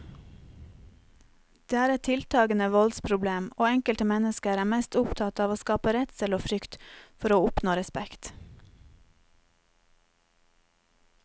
Det er et tiltagende voldsproblem, og enkelte mennesker er mest opptatt av å skape redsel og frykt for å oppnå respekt.